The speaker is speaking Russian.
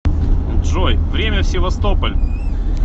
джой время в севастополь